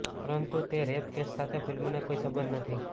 પરંતુ તે rape case સાથે ફિલ્મને કોઇ સંબંધ નથી